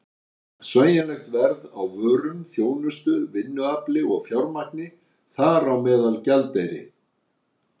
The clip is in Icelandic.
Sveigjanlegt verð á vörum, þjónustu, vinnuafli og fjármagni- þar á meðal gjaldeyri!